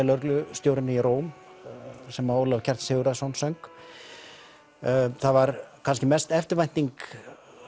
lögreglustjórinn í Róm sem Ólafur Kjartan Sigurðsson söng það var kannski mest eftirvænting